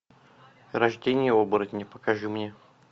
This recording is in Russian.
рождение оборотня покажи мне